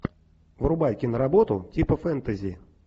врубай киноработу типа фэнтези